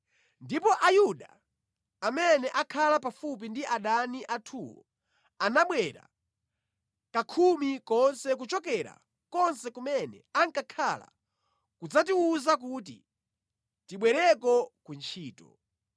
Ndipo Ayuda amene ankhala pafupi ndi adani athuwo anabwera kakhumi konse kuchokera konse kumene ankakhala kudzatiwuza kuti tibwereko ku ntchito.